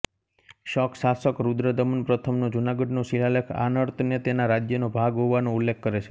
શક શાસક રુદ્રદમન પ્રથમનો જુનાગઢનો શિલાલેખ આનર્તને તેના રાજ્યનો ભાગ હોવાનો ઉલ્લેખ કરે છે